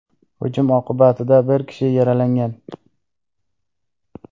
Hujum oqibatida bir kishi yaralangan.